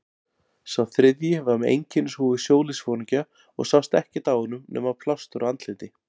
Sá þriðji var með einkennishúfu sjóliðsforingja og sást ekkert á honum nema plástur á andliti.